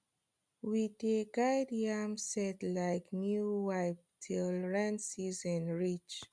we dey guard yam sett like new wife till rain season reach